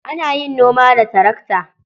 Ana yin noma da tarakta.